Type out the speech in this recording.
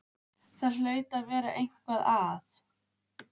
Það hlaut að vera eitthvað að.